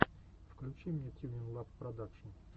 включи мне тьюнинлаб продакшн